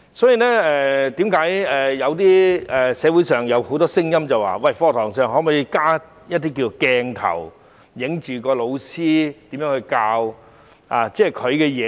因此，為何社會上有很多聲音認為，可否在課室內安裝鏡頭，拍攝老師如何授課呢？